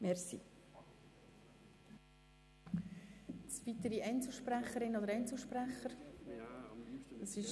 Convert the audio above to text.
Es haben sich keine weiteren Einzelsprechenden gemeldet.